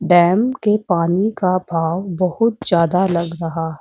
Dam के पानी का बाव बहुत ज्यादा लग रहा है।